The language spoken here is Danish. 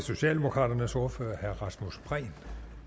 socialdemokraternes ordfører herre rasmus prehn